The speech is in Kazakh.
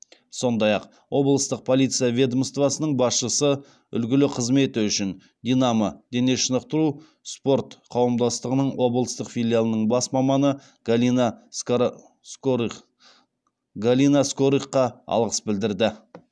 сондай ақ облыстық полиция ведомствосының басшысы үлгілі қызметі үшін динамо дене шынықтыру спорт қауымдастығының облыстық филиалының бас маманы галина галина скорыхқа алғыс білдірді